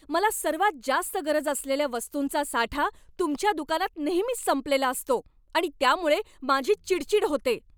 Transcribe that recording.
मला सर्वात जास्त गरज असलेल्या वस्तूंचा साठा तुमच्या दुकानात नेहमीच संपलेला असतो आणि त्यामुळे माझी चिडचिड होते.